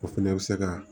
O fɛnɛ bɛ se ka